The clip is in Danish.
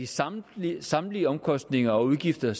samtlige samtlige omkostninger og udgifter